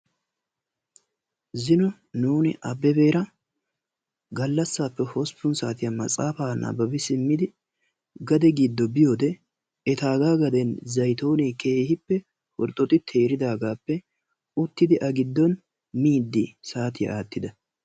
Zino nuuni Abbebeera gallassaappe hosppun saatiyan matsaafaa nabbabi simmidi gade giddo biyode etaagaa gaden zaytoonee herxxexxi teeridaagaappe miiddi uttidi saatiya aattida.